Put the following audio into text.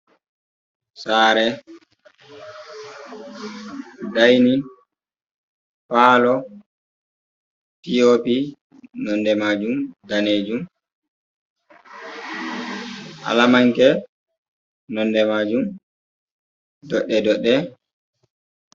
Sare, dainin, palo, Piopi nonde majum danejum. Alamanke nonde majum doɗɗe doɗɗe.